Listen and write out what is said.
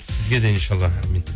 сізге де иншаалла әумин